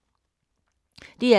DR K